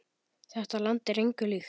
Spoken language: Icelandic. Þetta land er engu líkt.